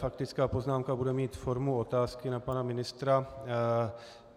Faktická poznámka bude mít formu otázky na pana ministra.